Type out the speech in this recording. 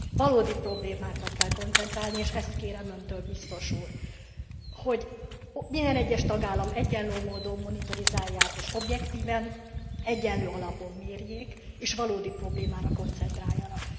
Valódi problémákra kell koncentrálni, és ezt kérem Öntől, Biztos Úr, hogy minden egyes tagállamot egyenlő módon monitorizáljanak, és objektíven, egyenlő alapon mérjék, és valódi problémára koncentráljanak.